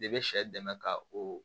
De be sɛ dɛmɛ ka o